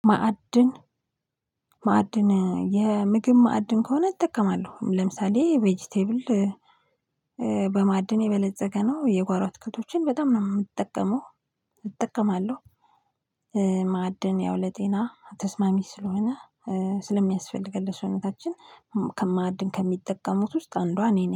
ማዕድን ማዕድን የምግብ ማዕድን ከሆነ እጠቀማለሁ ለምሳሌ ቬጂቴብል በማዕድን የበለፀገ ነው የጓሮ አትክልቶችን በጣም ነው የምጠቀመው እጠቀማለሁ። ማዕድን ያው ለጤና ተስማሚ ስለሆነ ስለሚያስፈልገን ለሰውነታችን ማአድን ከሚጠቀሙት ውስጥ አንዷ እኔ ነኝ